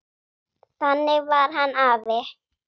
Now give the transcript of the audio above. Þannig var hann afi.